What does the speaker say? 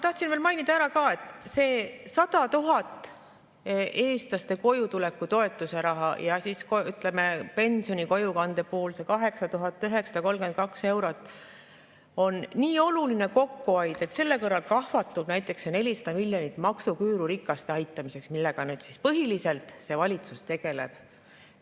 Tahtsin veel mainida, et see eestlaste kojutuleku toetuse 100 000 eurot ja siis, ütleme, pensioni kojukande puhul see 8932 eurot on nii oluline kokkuhoid, et selle kõrval kahvatub näiteks see 400 miljonit maksuküüru ja rikaste aitamiseks, millega see valitsus põhiliselt tegeleb.